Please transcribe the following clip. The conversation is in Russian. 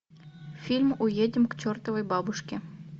фильм уедем к чертовой бабушке